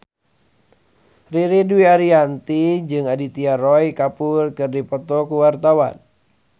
Ririn Dwi Ariyanti jeung Aditya Roy Kapoor keur dipoto ku wartawan